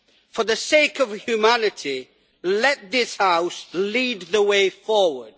For the sake of humanity, let this House lead the way forward.